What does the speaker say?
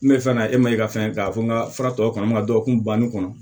N bɛ fɛ ka na e ma i ka fɛn k'a fɔ n ka fura tɔ kɔnɔ ka dɔgɔkun banni kɔnɔ